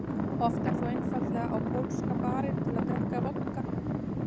Oftar þó einfaldlega á Pólska barinn til að drekka vodka.